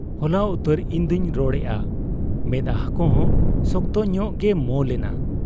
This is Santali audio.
ᱦᱚᱞᱟ ᱩᱛᱟᱹᱨ ᱤᱧᱫᱚᱧ ᱨᱚᱲᱮᱜ ᱟ ᱾ ᱢᱮᱫᱦᱟᱸᱠᱚ ᱥᱚᱠᱛᱚ ᱧᱚᱜ ᱜᱮ ᱢᱚ ᱞᱮᱱᱟ ᱾